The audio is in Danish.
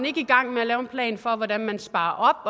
ikke i gang med at lave en plan for hvordan man sparer